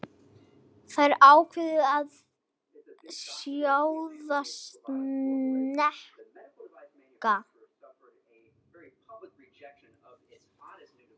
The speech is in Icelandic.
Þær ákváðu að sjóða snemma.